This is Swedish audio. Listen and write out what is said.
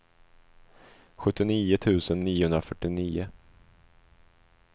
sjuttionio tusen niohundrafyrtionio